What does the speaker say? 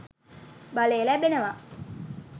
බලය ලැබෙනවා.